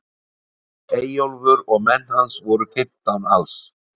Eyjólfur og menn hans voru fimmtán alls.